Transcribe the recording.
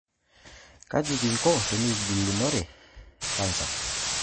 How can we fight against cancer?